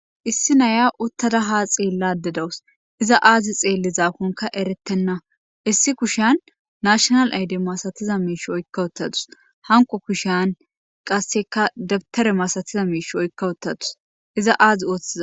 issi naya uttada haa xeelladay dawus iza aazi xeellizaakonka eretenna issi kushyian nashiinal aydde masatiza miish oykkauttadus hanqo kushan qasseka dabitare maasatiza miish oykkauttadus iza aazi ooththiza